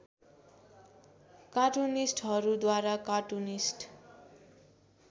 कार्टुनिस्टहरूद्वारा cartoonist